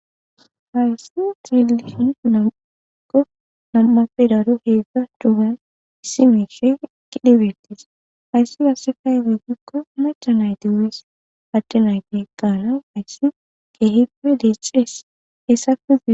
hayssi teelihin namukko nam7afedaro heedzdza dugan issimeshe kidhibettis ayssi hase fay we gikko umacha nayti wees adde nayti kaana hayssi keehippe liecees hessakuzie